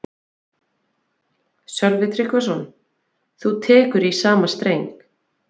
Sölvi Tryggvason: Þú tekur í sama streng?